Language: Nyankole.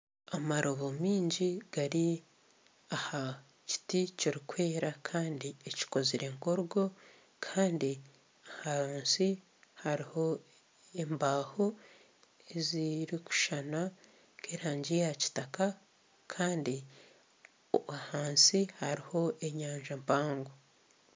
Amarobo mingi gari aha kiti kirukwera Kandi ekikozire nk'orugo Kandi ahansi haruho embaho ezirukushushana nk'erangi ya kitaka Kandi ahansi haruho enyanja mpango.